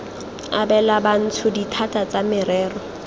abela bantsho dithata tsa merero